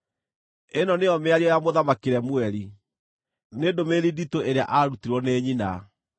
Ĩno nĩyo mĩario ya Mũthamaki Lemueli: nĩ ndũmĩrĩri nditũ ĩrĩa aarutirwo nĩ nyina: